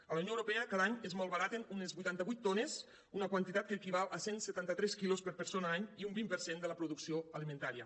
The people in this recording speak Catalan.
a la unió europea cada any es malbaraten uns vuitanta vuit milions de tones una quantitat que equival a cent i setanta tres quilos per persona any i un vint per cent de la producció alimentària